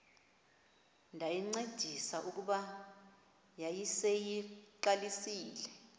ndayincedisa kuba yayiseyiqalisile